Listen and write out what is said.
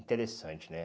Interessante, né?